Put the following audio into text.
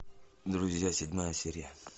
друзья седьмая серия